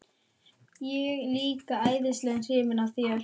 Ég er líka æðislega hrifin af þér.